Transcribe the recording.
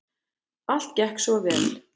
Allt gekk svo vel.